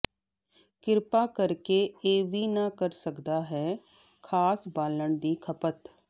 ਕ੍ਰਿਪਾ ਕਰਕੇ ਇਹ ਵੀ ਨਾ ਕਰ ਸਕਦਾ ਹੈ ਖਾਸ ਬਾਲਣ ਦੀ ਖਪਤ